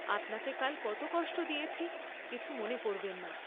আপনাকে কাল কত কষ্ট দিয়েছি, কিছু মনে করবেন না।